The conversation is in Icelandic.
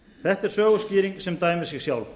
þetta er söguskýring sem dæmir sig sjálf